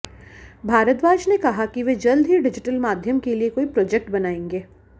भारद्वाज ने कहा कि वे जल्द ही डिजिटल माध्यम के लिए कोई प्रोजेक्ट बनाएंगे